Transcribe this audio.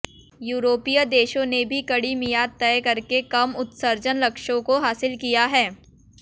यूरोपीय देशों ने भी कड़ी मियाद तय करके कम उत्सर्जन लक्ष्यों को हासिल किया है